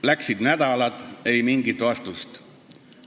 Nädalad läksid, ei mingit vastust.